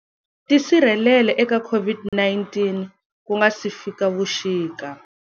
Tisirhelele eka COVID-19 ku nga si fika vuxika.